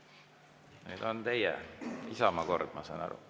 Nüüd on teie, Isamaa kord, ma saan aru.